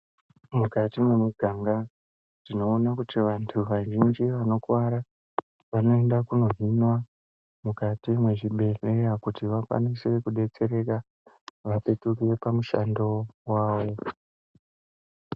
Mukati mwemuganga tinoona kuti vantu vazhinji vanokuwara, vanoenda kunohinwa mukati mwezvibhehleya kuti vakwanise kudetsereka, vapetuke pamushando wavo.